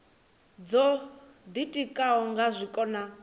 dzo ditikaho nga zwiko na